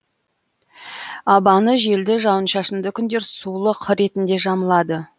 абаны желді жауын шашынды күндер сулық ретінде жамылады